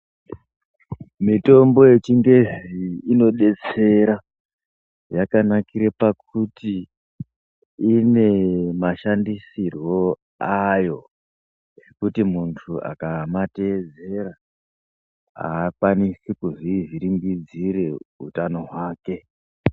Mitombo yechingezi inodetsera yakanakira pakuti ine mashandisirwo ayo zvekuti muntu akamateedzera akwanisi kuzvivhiringidzira utano hwake.